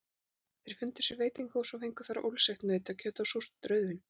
Þeir fundu sér veitingahús og fengu þar ólseigt nautakjöt og súrt rauðvín.